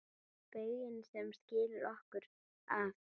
Bauginn sem skilur okkur að.